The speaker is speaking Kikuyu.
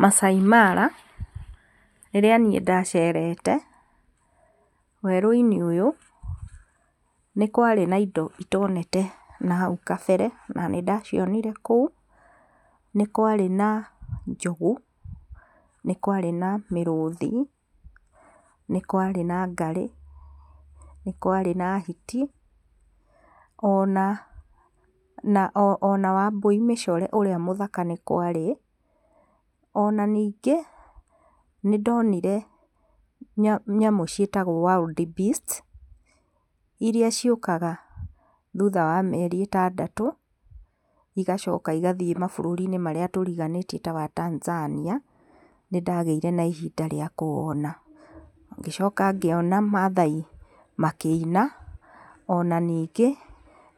Maasai Mara rĩrĩa niĩ ndacerete werũ-inĩ ũyũ nĩ kwarĩ na indo itonete hau kabere na nĩ ndacinire kũu, nĩ kwarĩ na njũgũ, nĩ kwarĩ na mĩrũthi, nĩ kwarĩ na ngarĩ, nĩ kwarĩ na hiti ona wambũi mĩcore ũrĩa mũthaka nĩ kwarĩ, Ona ningĩ nĩ ndonire nyamũ ciĩtagwo wild beast iria ciũkaga thutha wa mĩeri ĩtandatũ igacoka igathiĩ mabũrũri marĩa tũriganĩtie ta wa Tanzania nĩ ndagĩire na ihinda rĩa kũwona. Ngĩcoka ngĩona Maathai makĩina ona ningĩ